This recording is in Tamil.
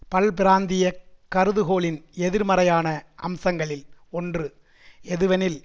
பல்பிராந்தியக் கருதுகோளின் எதிர்மறையான அம்சங்களில் ஒன்று எதுவெனில்